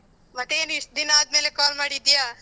ಮತ್ತೇನು ಇಷ್ಟು ದಿನಾದ್ಮೇಲೆ call ಮಾಡಿದ್ದೀಯ?